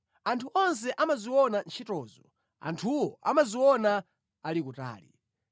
Anthu onse amaziona ntchitozo; anthuwo amaziona ali kutali.